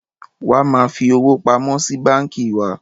Wa máa fi owó pamọ́ sí báńkì wá!